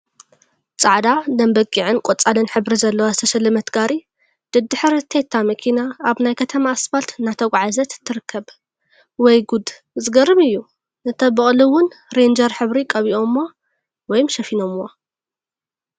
ፃዕዳ፣ ደም ገቢዕን ቆፃልን ሕብሪ ዘለዋ ዝተሸለመት ጋሪ ደድሕሪ ቴታ መኪና አብ ናይ ከተማ እስፓልት እናተጓዓዘት ትርከብ፡፡ ወይ ጉድ ዝገርም እዩ ነታ በቅሊ እውን ሌንጀር ሕብሪ ቀቢኦማ/ሸፊኖማ፡፡